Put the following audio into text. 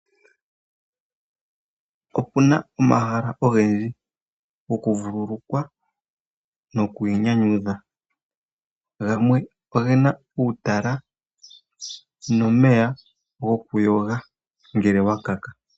Opu na omahala ogendji gokuvululukwa nokwiinyanyudha gamwe oge na uutala nomeya gokuyoga ngele wu uvite uupyu.